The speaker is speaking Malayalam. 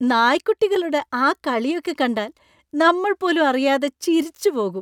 നായ്ക്കുട്ടികളുടെ ആ കളിയൊക്കെ കണ്ടാൽ നമ്മൾ പോലും അറിയാതെ ചിരിച്ചുപോകും.